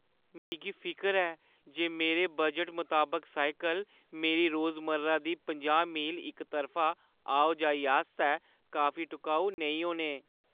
मिगी फिकर ऐ जे मेरे बजटै मताबक साइकल मेरी रोजमर्रा दी पंजाह् मील इक तरफा आओ-जाई आस्तै काफी टकाऊ नेईं होने।